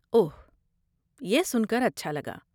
اوہ، یہ سن کر اچھا لگا۔